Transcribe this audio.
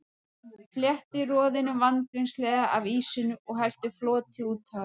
Fletti roðinu vandvirknislega af ýsunni og hellti floti út á hana.